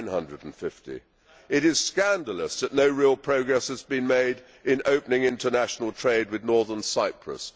950. It is scandalous that no real progress has been made in opening international trade with Northern Cyprus.